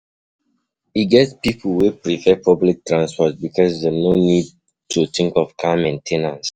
E get pipo wey prefer um public transport because dem no get moni to um buy their own car car